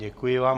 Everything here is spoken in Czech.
Děkuji vám.